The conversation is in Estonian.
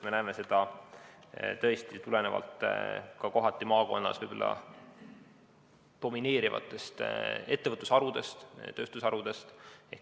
Me näeme, et see kohati tuleneb maakonnas domineerivatest ettevõtlusharudest, tööstusharudest.